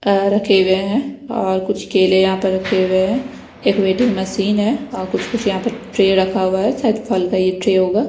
Tyre रखे हुए हैं और कुछ केले यहां पर रखे हुए हैं एक वेटिंग मशीन है और कुछ-कुछ यहां पर ट्रे रखा हुआ है शायद फल का ये ट्रे होगा।